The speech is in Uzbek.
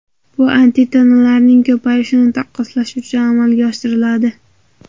Bu antitanalarning ko‘payishini taqqoslash uchun amalga oshiriladi.